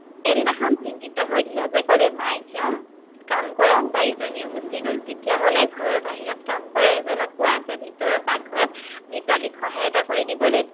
সেইদিনা খন চিন্তিত হৈ ধীৰজে ক'লে মাহেকীয়া কাম কৰা বাই জনীও গুচি গল, তেতিয়া হ'লে ঘৰৰ বাহিৰত কাম কৰা এজনক কোৱা ভিতৰত পাকঘৰত ভিতালীক সহায় এটা কৰি দিবলৈ